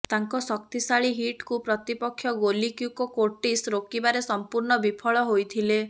ତାଙ୍କ ଶକ୍ତିଶାଳୀ ହିଟ୍କୁ ପ୍ରତିପକ୍ଷ ଗୋଲି କ୍ୟୁକୋ କୋର୍ଟିସ ରୋକିବାରେ ସମ୍ପୂର୍ଣ୍ଣ ବିଫଳ ହୋଇଥିଲେ